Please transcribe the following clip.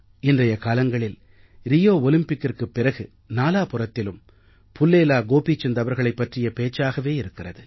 இன்றைய காலங்களில் ரியோ ஒலிம்பிக்கிற்குப் பிறகு நாலாபுறத்திலும் புல்லேலா கோபிசந்த் அவர்களைப் பற்றிய பேச்சாகவே இருக்கிறது